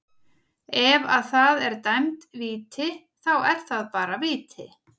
Ef að það er dæmd víti, þá er það bara víti.